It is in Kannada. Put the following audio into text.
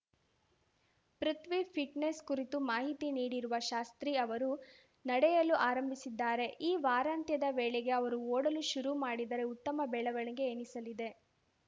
ಪೃಥ್ವಿ ಫಿಟ್ನೆಸ್‌ ಕುರಿತು ಮಾಹಿತಿ ನೀಡಿರುವ ಶಾಸ್ತ್ರಿ ಅವರು ನಡೆಯಲು ಆರಂಭಿಸಿದ್ದಾರೆ ಈ ವಾರಂತ್ಯದ ವೇಳೆಗೆ ಅವರು ಓಡಲು ಶುರು ಮಾಡಿದರೆ ಉತ್ತಮ ಬೆಳವಣೆಗೆ ಎನಿಸಲಿದೆ